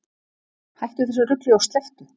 Hættu þessu rugli og slepptu!